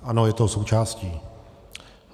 Ano, je toho součástí.